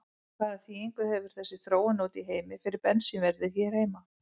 Hvaða þýðingu hefur þessi þróun úti í heimi fyrir bensínverðið hér á landi?